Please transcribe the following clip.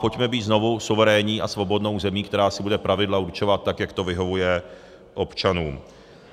Pojďme být znovu suverénní a svobodnou zemí, která si bude pravidla určovat tak, jak to vyhovuje občanům.